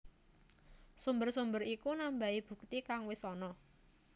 Sumber sumber iku nambahi bukti kang wis ana